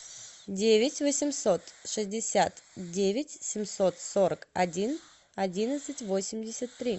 девять восемьсот шестьдесят девять семьсот сорок один одиннадцать восемьдесят три